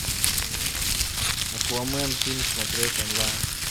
аквамен фильм смотреть онлайн